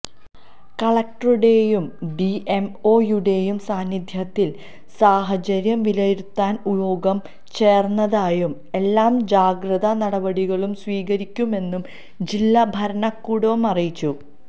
കലക്ടറുടെയും ഡിഎംഒയുടെയും സാന്നിധ്യത്തില് സാഹചര്യം വിലയിരുത്താന് യോഗം ചേര്ന്നതായും എല്ലാ ജാഗ്രതാനടപടികളും സ്വീകരിക്കുമെന്നും ജില്ലാ ഭരണകൂടവും അറിയിച്ചു